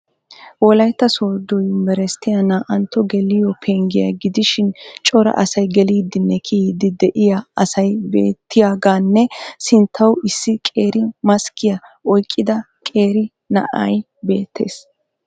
Wolaytta sooddo yunbberesttiya naa"antto geliyo penggiya gidishin cora asay geliiddinne kiyiiddi de'iya asay beettiyagaanne sinttawu issi qeeri maskkiya oyqqida qeera na'ay beettees.